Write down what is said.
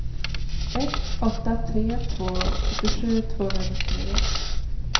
ett åtta tre två sjuttiosju tvåhundranittionio